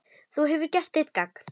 Þú hefur gert þitt gagn.